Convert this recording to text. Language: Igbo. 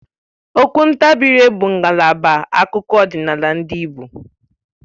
Okwu ntabiire ngalaba akụkọ ọdịnala ndị Igbo